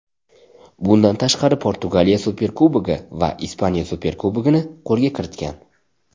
Bundan tashqari Portugaliya Superkubogi va Ispaniya Superkubogini qo‘lga kiritgan.